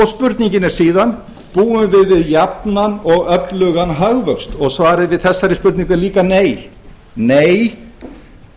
spurningin er síðan búum við við jafnan og öflugan hagvöxt svarið við þessari spurningu er líka nei nei það má